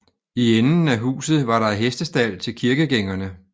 I enden af huset var der hestestald til kirkegængerne